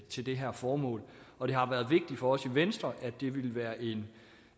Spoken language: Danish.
til det her formål og det har været vigtigt for os i venstre at det ville være en